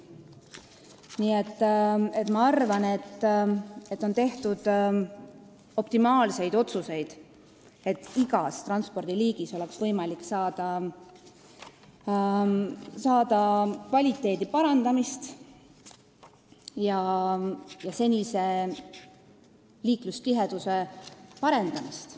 Nii et ma arvan, et on tehtud optimaalseid otsuseid, et igas transpordiliigis oleks võimalik kvaliteeti ja senist liiklustihedust parandada.